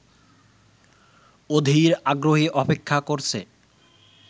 অধীর আগ্রহে অপেক্ষা করছে